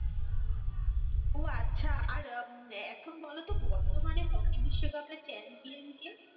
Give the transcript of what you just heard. ও আচ্ছা আর এখন বলতো বর্তমানে হকি বিশ্বকাপের champion কে?